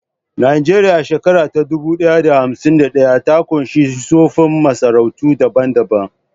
Nijeriya, a shekara ta dubu ɗaya da hamsin da ɗaya, ta ƙunshi tsoffin masarautu daban-daban